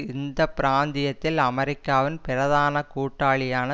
இந்த பிராந்தியத்தில் அமெரிக்காவின் பிரதான கூட்டாளியான